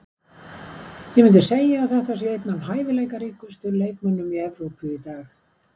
Ég myndi segja að þetta sé einn af hæfileikaríkustu leikmönnunum í Evrópu í dag.